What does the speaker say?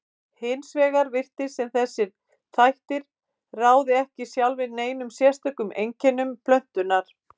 Hins vegar virtist sem þessir þættir ráði ekki sjálfir neinum sérstökum einkennum plöntunnar.